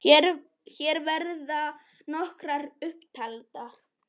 Hér verða nokkrar upp taldar